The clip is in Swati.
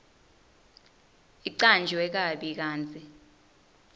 icanjwe kabi kantsi